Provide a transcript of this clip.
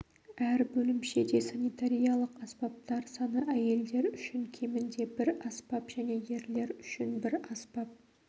әр бөлімшеде санитариялық аспаптар саны әйелдер үшін кемінде бір аспап және ерлер үшін бір аспап